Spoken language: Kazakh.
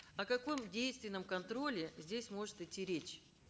о каком действенном контроле здесь может идти речь